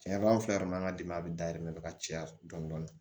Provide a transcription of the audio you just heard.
Tiɲɛ yɛrɛ la anw fɛ yan nɔ an ka dɛmɛ bɛ da yen nɔ ka caya dɔɔni dɔɔni